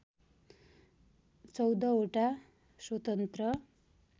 १४ वटा स्वतन्त्र